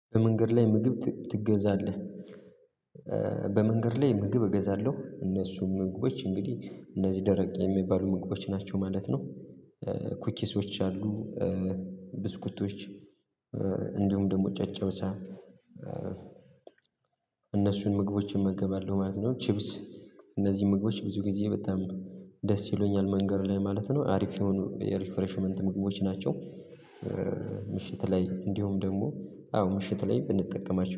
በመንገድ ላይ ምግብ ትገዛለህ? በመንገድ ላይ ምግብ እገዛለሁ እነሱም ምግቦች እንግዲህ እነዚህ ደረቅ የሚባሉ ምግቦች ናቸው ማለት ነው። ኩኪሶች አሉ። ብስኩቶች። እንዲሁም ደግሞ ጨጨብሳ። እነሱን ምግቦች እመገባለሁ ማለት ነው። ቺፕስ እነዚህ ምግቦች ብዙ ጊዜ በጣም ደስ ይሉኛል መንገድ ላይ ማለት ነው አሪፍ የሆኑ የሪፍሬሽመንት ምግቦች ናቸው። ምሽት ላይ እንዲሁም ደሞ አዎ ምሽት ላይ ብንጠቀማቸው